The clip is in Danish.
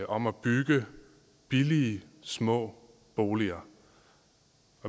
om at bygge billige små boliger